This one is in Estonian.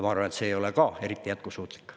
Ma arvan, et see ei ole ka eriti jätkusuutlik.